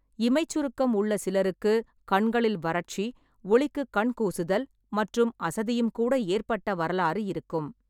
இமைச் சுருக்கம் உள்ள சிலருக்கு கண்களில் வறட்சி, ஒளிக்குக் கண் கூசுதல் மற்றும் அசதியும் கூட ஏற்பட்ட வரலாறு இருக்கும்.